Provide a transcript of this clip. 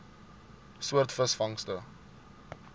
soort visvangste